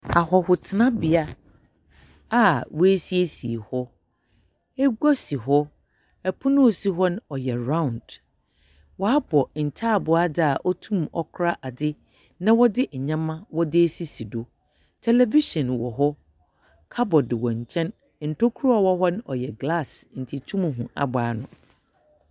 Ahɔhotsenabea a woesiesie hɔ. Egua si hɔ. Ɛpono a osi hɔ no, ɔyɛ round. Wɔabɔ ntaaboo adze a otum kora adze na wɔze nyeɛma wɔdze esisi do. Televihyen wɔ hɔ, cupboard wɔ nkyɛn. Ntokua a ɔwɔ hɔ no ɔyɛ glass nti etum hu aboano.